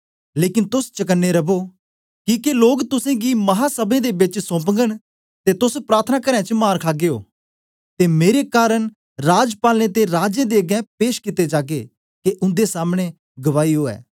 लेकन तोस चकने रवो किके लोग तुसेंगी महासभें दे बेच सोंपगन ते तोस प्रार्थनाकारें च मार खागे ओ ते मेरे कारन राजपालें ते राजें दे अगें पेश कित्ते जागे के उन्दे सामने गवाही ओ